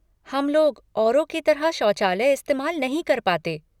हम लोग, औरों की तरह शौचालय इस्तेमाल नहीं कर पाते।